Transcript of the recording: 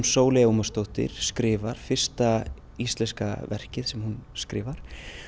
Sóley Ómarsdóttir skrifar fyrsta íslenska verkið sem hún skrifar